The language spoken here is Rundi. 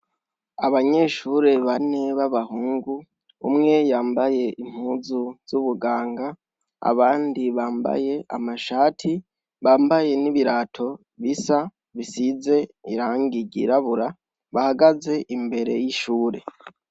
Abanyeshure bane b' abahungu umwe yambaye impuzu z' ubuganga abandi bambaye amashati bambaye n' ibirato bisa bisize irangi ryirabura bahagaze imbere y' ishuri.